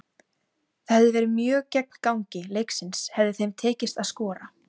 Það hefði verið mjög gegn gangi leiksins hefði þeim tekist að skora.